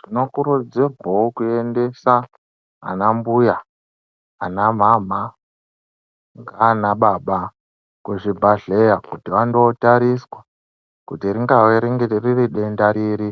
Tinokurudzirwewo kuendesa ana mbuya, ana mhamha ngaana baba kuzvibhahleya kuti vandootariswa kuti ringave riri denda riri